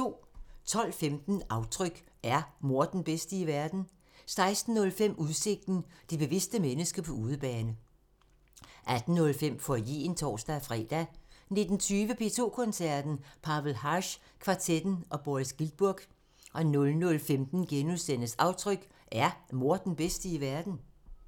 12:15: Aftryk – Er mor den bedste i verden? 16:05: Udsigten – Det bevidste mennesker på udebane 18:05: Foyeren (tor-fre) 19:20: P2 Koncerten – Pavel Haas kvartetten og Boris Giltburg 00:15: Aftryk – Er mor den bedste i verden? *